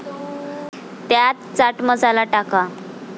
त्यात चाट मसाला टाका.